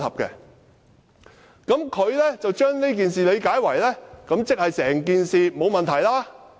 他把我的同意理解為我認為整件事沒有問題。